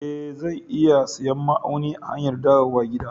E, zan iya siyan ma'aunin a hanyar dawowa gida.